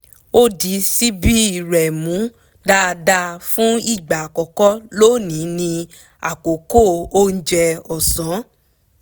ó di ṣíbí rẹ̀ mú dáadáa fún ìgbà àkọ́kọ́ lónìí ní àkókò oúnjẹ ọ̀sán